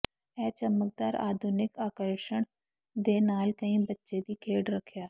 ਇਹ ਚਮਕਦਾਰ ਆਧੁਨਿਕ ਆਕਰਸ਼ਣ ਦੇ ਨਾਲ ਕਈ ਬੱਚੇ ਦੀ ਖੇਡ ਰੱਖਿਆ